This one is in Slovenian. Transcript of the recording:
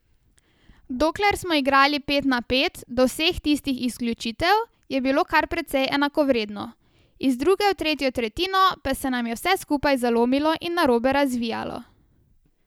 Dokler smo igrali pet na pet, do vseh tistih izključitev, je bilo kar precej enakovredno, iz druge v tretjo tretjino pa se nam je vse skupaj zlomilo in narobe razvijalo.